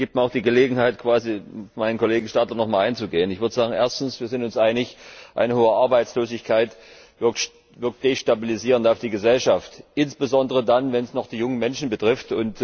Das gibt mir die Gelegenheit, quasi auf meinen Kollegen Stadler nochmal einzugehen. Ich würde sagen, erstens Wir sind uns einig, eine hohe Arbeitslosigkeit wirkt destabilisierend auf die Gesellschaft, insbesondere dann, wenn sie die jungen Menschen betrifft.